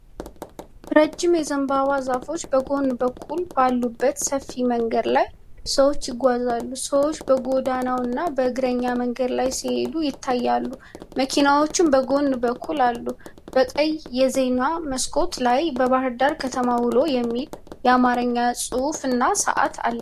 ረጅም የዘንባባ ዛፎች በጎን በኩል ባሉበት ሰፊ መንገድ ላይ ሰዎች ይጓዛሉ። ሰዎች በጎዳናውና በእግረኛ መንገድ ላይ ሲሄዱ ይታያሉ፤ መኪናዎችም በጎን በኩል አሉ። በቀይ የዜና መስኮት ላይ የባህርዳር ከተማ ውሎ የሚል የአማርኛ ጽሑፍና ሰዓት አለ።